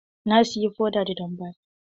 Na siyi foda da jan baki.